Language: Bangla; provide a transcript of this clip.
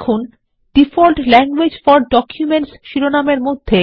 এখন ডিফল্ট ল্যাংগুয়েজেস ফোর ডকুমেন্টস শিরোনাম এর মধ্যে